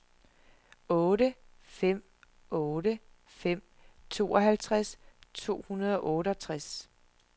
otte fem otte fem tooghalvtreds to hundrede og otteogtres